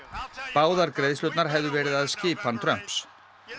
báðar greiðslurnar hefðu verið að skipan Trumps